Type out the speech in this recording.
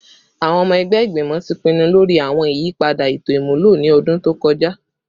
Awọn ọmọ ẹgbẹ Igbimọ ti pinnu lori awọn iyipada eto imulo ni ọdun to kọja